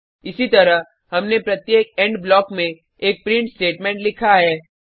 इसीतरह हमने प्रत्येक इंड ब्लॉक में एक प्रिंट स्टेटमेंट लिखा है